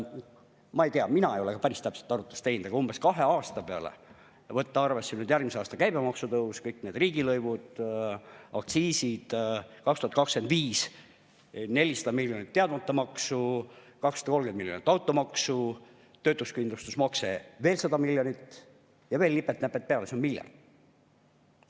Ma ei tea, mina ei ole ka päris täpset arvutust teinud, aga umbes tuleb kahe aasta peale, kui võtta arvesse järgmise aasta käibemaksu tõus, kõik need riigilõivud ja aktsiisid, 2025. aastal 400 miljonit teadmata maksu, 230 miljonit automaksu, töötuskindlustusmakse 100 miljonit ja veel nipet-näpet peale, kokku miljard eurot.